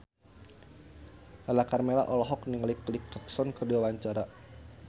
Lala Karmela olohok ningali Kelly Clarkson keur diwawancara